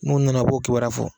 N'u nana u b'o kibaruya fɔ